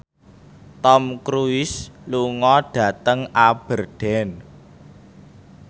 Tom Cruise lunga dhateng Aberdeen